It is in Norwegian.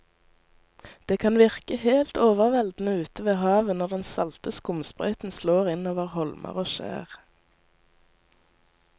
Det kan virke helt overveldende ute ved havet når den salte skumsprøyten slår innover holmer og skjær.